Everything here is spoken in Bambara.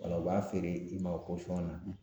u b'a feere i ma o na